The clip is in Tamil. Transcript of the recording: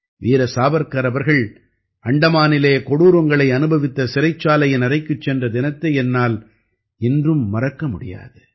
வீர சாவர்க்கர் அவர்கள் அந்தமானிலே கொடூரங்களை அனுபவித்த சிறைச்சாலையின் அறைக்குச் சென்ற தினத்தை என்னால் இன்றும் மறக்க முடியாது